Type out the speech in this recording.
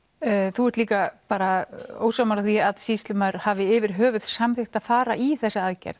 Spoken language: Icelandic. þú ert líka ósammála því að sýslumaður hafi yfir höfð samþykkt að fara í þessa aðgerð